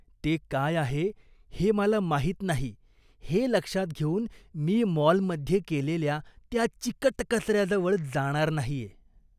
ते काय आहे हे मला माहीत नाही हे लक्षात घेऊन मी मॉलमध्ये केलेल्या त्या चिकट कचऱ्याजवळ जाणार नाहीये.